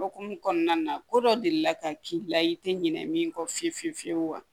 Okumu kɔnɔna na ko dɔ deli la ka k'i la i tɛ ɲinɛ min kɔ fiye fiye fiyewu wa